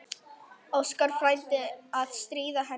Óskar frændi að stríða henni.